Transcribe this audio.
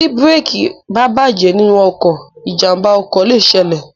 Ti bírèèkì bá bàjẹ́ nínú ọkọ̀, ìjàmbá ọkọ̀ lè ṣẹlẹ̀.